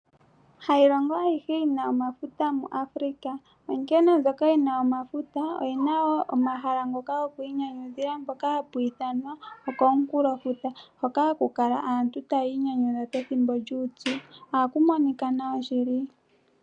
Hayi longo ayihe yina omafuta mu Africa. Onkene mbyoka yina omafuta oyina wo omahala ngoka goku inyanyudhila mpoka hapu ithanwa okomunkulo futa. Hoka haku kala aantu tayi inyanyudha pethimbo lyuupyu. Oha ku monika nawa shili.